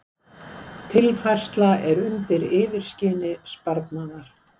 Tilfærsla undir yfirskini sparnaðar